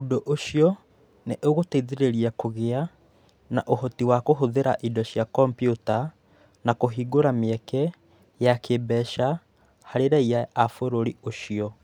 Ũndũ ũcio nĩ ũgũteithĩrĩria kũgĩa na ũhoti wa kũhũthĩra indo cia kompiuta, na kũhingũra mĩeke ya kĩĩmbeca harĩ raiya a bũrũri ũcio.